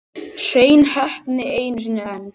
Hrein heppni einu sinni enn.